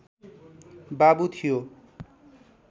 बाबु थियो